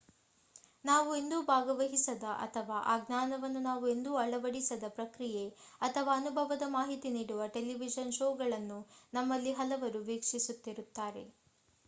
ನಾವು ಎಂದೂ ಭಾಗವಹಿಸದ ಅಥವಾ ಆ ಜ್ಞಾನವನ್ನು ನಾವು ಎಂದೂ ಅಳವಡಿಸದ ಪ್ರಕ್ರಿಯೆ ಅಥವಾ ಅನುಭವದ ಮಾಹಿತಿ ನೀಡುವ ಟೆಲಿವಿಷನ್ ಶೋಗಳನ್ನು ನಮ್ಮಲ್ಲಿ ಹಲವರು ವೀಕ್ಷಿಸುತ್ತಿರುತ್ತೇವೆ